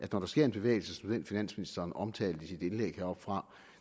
der sker en bevægelse som den finansministeren omtalte i sit indlæg heroppefra